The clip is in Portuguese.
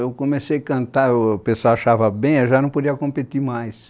Eu comecei a cantar, o pessoal achava bem, eu já não podia competir mais.